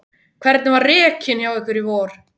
Hvernig var rekinn hjá ykkur í vor?